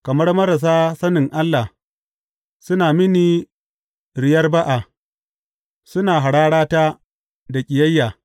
Kamar marasa sani Allah suna mini riyar ba’a; Suna hararata da ƙiyayya.